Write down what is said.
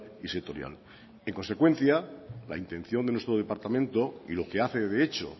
y sectorial en consecuencia la intención de nuestro departamento y lo que hace de hecho